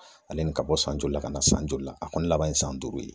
Ale ni ka bɔ san joli la ka na san joli la. A kɔni laban ye san duuru ye.